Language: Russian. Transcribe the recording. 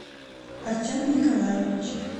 артеме николаевиче